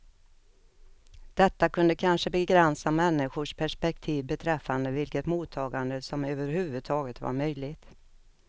Detta kunde kanske begränsa människors perspektiv beträffande vilket mottagande som överhuvudtaget var möjligt.